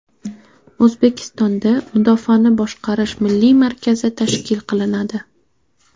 O‘zbekistonda Mudofaani boshqarish milliy markazi tashkil qilinadi.